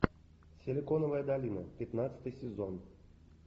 силиконовая долина пятнадцатый сезон